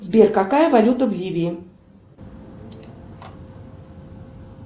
сбер какая валюта в ливии